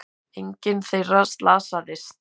Enginn þeirra slasaðist